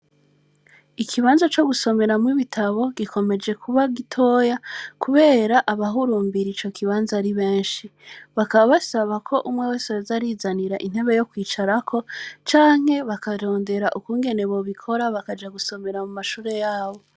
Ikibanza co gusomeramwo ibitabo, gikomeje kuba gitoya, kubera abahurumbira ico kibanza ari benshi; bakaba basaba ko umwe wese yoza arizanira intebe yo kwicarako, canke bakarondera ukungene bobikora, bakaja gusomera mu mashure yabo.